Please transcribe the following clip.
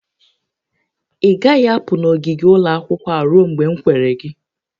Ị gaghị apụ n'ogige ụlọ akwụkwọ a ruo mgbe m kwere gị!